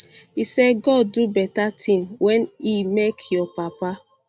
e say god do beta tin wen e make your papa